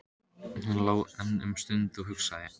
Hann lá enn um stund og hugsaði.